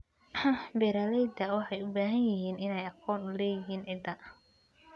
Beeralayda waxay u baahan yihiin inay aqoon u leeyihiin ciidda.